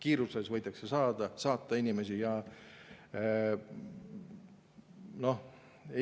Inimesi võidakse kiirustades saatma hakata.